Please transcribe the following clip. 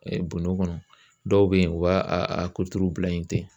bonnɔ kɔnɔ dɔw be yen u b'a a kuturu bila yen ten.